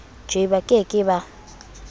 je ba ke ke ba